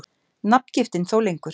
Nafngiftin þó lengur.